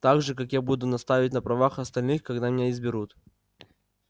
так же как я буду настаивать на правах остальных когда меня изберут